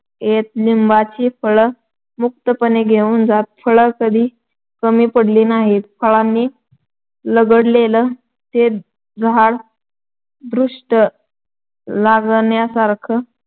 लिंबाची फळं मुक्तपणे घेऊन जात. फळं कधी कमी पडली नाहीत. फळांन लगडलेलं ते झाड दृष्ट लागण्यासारखं